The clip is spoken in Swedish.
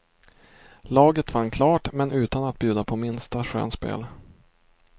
Laget vann klart, men utan att bjuda på minsta skönspel.